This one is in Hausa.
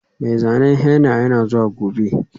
Mai zanen henna yana zuwa gobe.